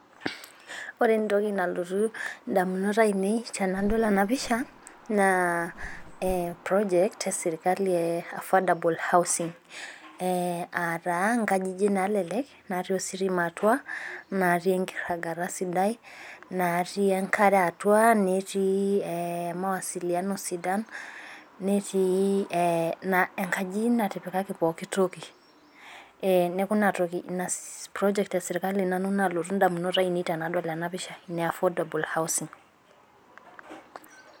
Ore entoki nalotu damunot ainei, tenadol ena pisha. naa project e sirkali e affordable housing .aa taa nkajijik naalelek natii ositima atua. natii enkirangata sidai. natii enkare atua. netii mawasiliamo sdan. netio enkaji natipikaki pooki toki. neeku ina project esirkali naalotu nanu idamunot ainei tenadol ena pisha.